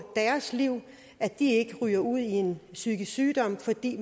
deres liv at de ikke ryger ud i en psykisk sygdom fordi